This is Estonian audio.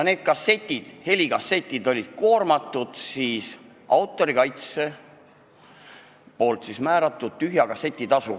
Nendele helikassettidele oli autorikaitse määranud tühja kasseti tasu.